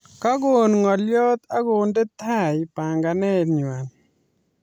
Kakon ngolyot akonde tai panganet nywa